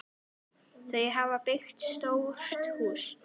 Þau hafa byggt stórt hús.